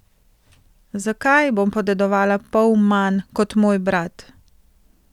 Zakaj bom podedovala pol manj kot moj brat?